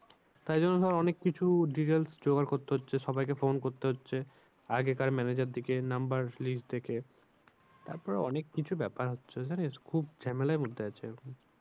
তাই জন্য ধর অনেক কিছু details জোগাড় করতে হচ্ছে। সবাইকে phone করতে হচ্ছে। আগেকার manager দেরকে number list দেখে তারপর অনেক কিছু ব্যাপার হচ্ছে জানিস খুব ঝামেলার মধ্যে আছি এখন।